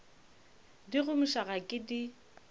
di gomiša ga ke di